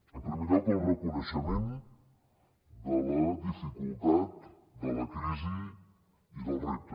en primer lloc el reconeixement de la dificultat de la crisi i dels reptes